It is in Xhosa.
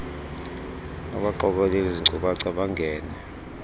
abaqokeleli zinkcukacha bangene